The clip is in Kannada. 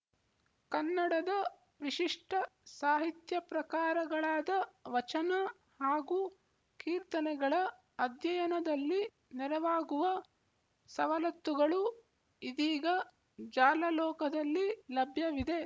ಕನ್ನಡದ ವಿಶಿಷ್ಟ ಸಾಹಿತ್ಯಪ್ರಕಾರಗಳಾದ ವಚನ ಹಾಗೂ ಕೀರ್ತನೆಗಳ ಅಧ್ಯಯನದಲ್ಲಿ ನೆರವಾಗುವ ಸವಲತ್ತುಗಳು ಇದೀಗ ಜಾಲಲೋಕದಲ್ಲಿ ಲಭ್ಯವಿದೆ